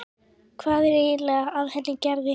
Hvað er eiginlega að henni Gerði.